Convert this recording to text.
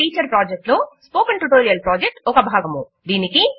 talk to a teacher project లో spoken tutorial project ఒక భాగము